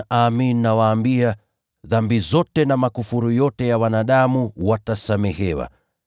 Amin, nawaambia, dhambi zote na makufuru yote ya wanadamu watasamehewa.